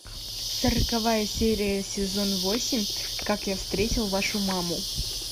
сороковая серия сезон восемь как я встретил вашу маму